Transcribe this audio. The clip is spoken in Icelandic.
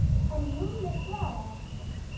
En Lúlli svaraði ekki.